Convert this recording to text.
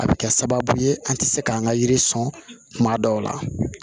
A bɛ kɛ sababu ye an tɛ se k'an ka yiri sɔn kuma dɔw la